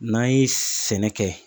N'an ye sɛnɛ kɛ